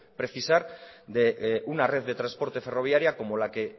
precisar de una red de transporte ferroviaria como la que